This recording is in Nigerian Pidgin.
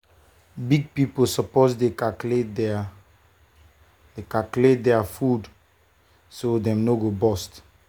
big people suppose dey calculate their dey calculate their food so dem no go burst.